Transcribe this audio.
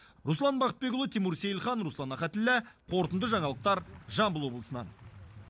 руслан бақытбекұлы тимур сейілхан руслан ахатіллә қорытынды жаңалықтар жамбыл облысынан